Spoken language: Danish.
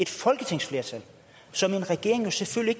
folketingsflertal som en regering jo selvfølgelig